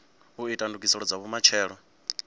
u ita ndugiselo dza vhumatshelo